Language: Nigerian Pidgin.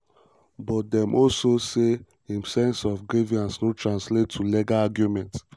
but dem also say im "sense of grievance" no "translate to legal argument".